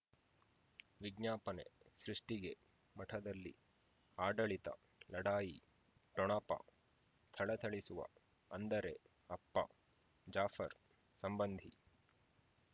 ವಿಜ್ಞಾಪನೆ ಸೃಷ್ಟಿಗೆ ಮಠದಲ್ಲಿ ಆಡಳಿತ ಲಢಾಯಿ ಠೊಣಪ ಥಳಥಳಿಸುವ ಅಂದರೆ ಅಪ್ಪ ಜಾಫರ್ ಸಂಬಂಧಿ